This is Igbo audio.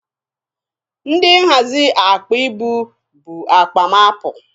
Ndị nhazi akpa ibu bu akpa m apụ.